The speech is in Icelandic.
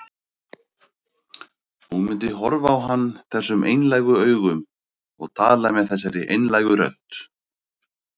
Hún myndi horfa á hann þessum einlægu augum og tala með þessari einlægu rödd.